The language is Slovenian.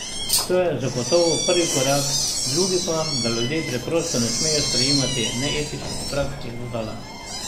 To je zagotovo prvi korak, drugi pa, da ljudje preprosto ne smemo sprejemati neetičnih praks, je dodala.